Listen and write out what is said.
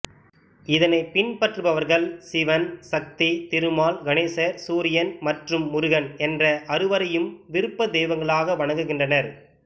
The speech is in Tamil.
இதனைப் பின்பற்றுபவர்கள் சிவன் சக்தி திருமால் கணேசர் சூரியன் மற்றும் முருகன் என்ற அறுவரையும் விருப்ப தெய்வங்களாக வணங்குகின்றனர்